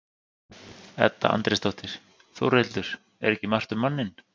Edda Andrésdóttir: Þórhildur, er ekki margt um manninn?